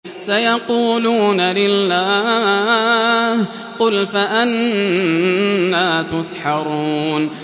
سَيَقُولُونَ لِلَّهِ ۚ قُلْ فَأَنَّىٰ تُسْحَرُونَ